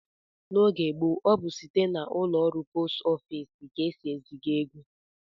N'oge gboo, ọ bụ site n'ụlọọrụ post ofiisi ka e si eziga ego